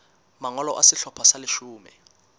mangolo a sehlopha sa leshome